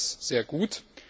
Ich finde das sehr gut.